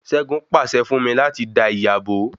Ṣẹgun pàṣẹ fún mí láti dá ìyá bó